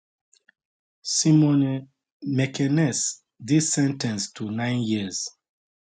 simone mekenese dey sen ten ced to nine years